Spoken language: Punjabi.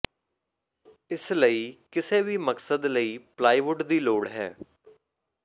ਇਸ ਲਈ ਕਿਸੇ ਵੀ ਮਕਸਦ ਲਈ ਪਲਾਈਵੁੱਡ ਦੀ ਲੋੜ ਹੈ